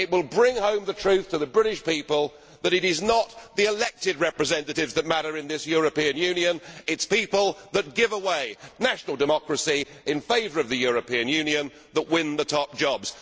It will bring home the truth to the British people that it is not the elected representatives that matter in this European Union, it is people that give away national democracy in favour of the European Union that win the top jobs.